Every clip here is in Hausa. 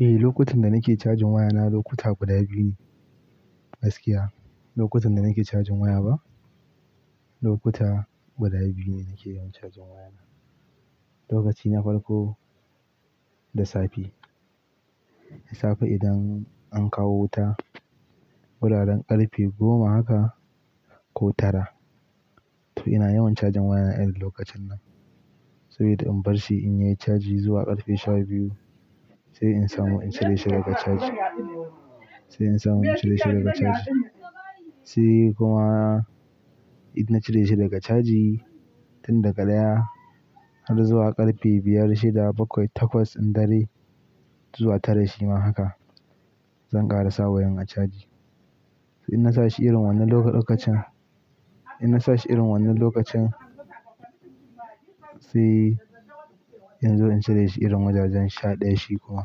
Eh, lokutan da nake cajin wayana lokuta guda biyu ne. Gaskiya, lokutan da nake cajin waya ba, lokuta guda biyu ne nake yawan cajin wayana. Lokaci na farko, da safe. Da safe idan an kawo wuta, wuraren ƙarfe goma haka ko tara. To ina yawan cajin waya iri lokacin nan. Saboda in bar shi in yi caji zuwa ƙarfe sha biyu sai in samu in cire shi daga caji, sai in samu in cire shi daga caji. Sai kuma idan na cire shi daga caji tun daga ɗaya har zuwa ƙarfe biyar, shida, bakwai, takwas, in dare zuwa tara, shima haka. Zan ƙara sa wayan a caji. In na sa shi irin wannan lokacin, in na sa shi irin wannan lokacin sai in zo in cire shi irin wajajen sha ɗaya. Shi kuma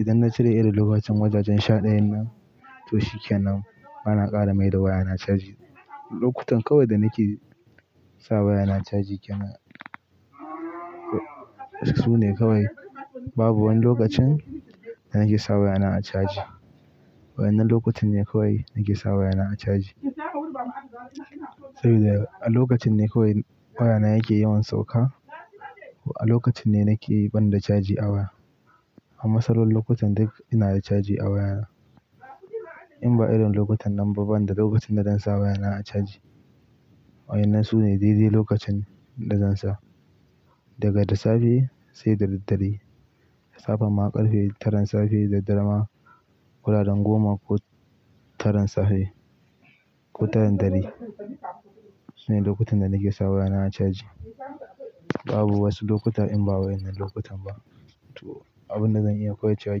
idan na cire iri lokacin wajajen sha ɗayan nan to shikenan bana ƙara maida wayana caji. Lokutan kawai da nake sa wayana caji ke nan. Su ne kawai. Babu wani lokacin da nake sa wayana a caji. Wayanan lokocin ne kawai nake sa waya na a caji. Saboda a lokacin ne kawai wayana yake yawan sauƙa. A lokacin ne nake banda caji a waya. Ama sauran lokutan duk ina da caji a waya. In ba irin lokutan nan ba banda lokacin da zan sa wayana a caji. Wayanan su ne daidai lokacin da zan sa. Daga da safe sai da daddare. Safan ma ƙarfe taran safe da dare ma wuraren goma ko taran safe ko taran dare. Su ne lokutan da nake sa wayana a caji. Babu wasu lokutan in ba wayanan lokutan ba. To abin da zan iya koyarce wa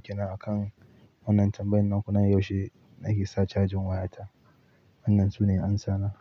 kenan akan wannan tambayin naku na yaushe nake sa cajin wayata. Wannan su ne amsana.